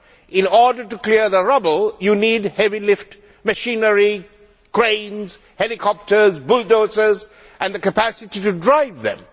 In order to clear the rubble, you need heavy lifting machinery, cranes, helicopters, bulldozers and the capacity to drive them.